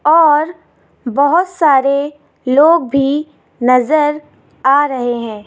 और बोहोत सारे लोग भी नजर आ रहे हैं।